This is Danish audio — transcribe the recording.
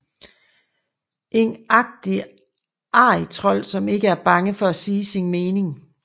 En rigtig arrigtrold som ikke er bange for at sige sin mening